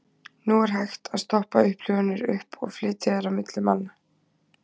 Nú hægt að stoppa upplifanir upp og flytja þær á milli manna.